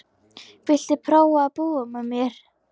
Viltu prófa að búa með mér.